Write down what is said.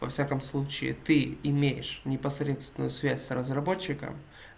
во всяком случае ты имеешь непосредственную связь с разработчиком